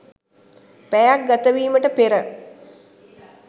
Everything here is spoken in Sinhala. පැයක්‌ ගතවීමට පෙර